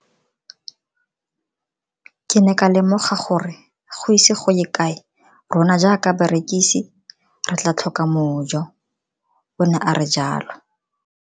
Ke ne ka lemoga gore go ise go ye kae rona jaaka barekise re tla tlhoka mojo, o ne a re jalo.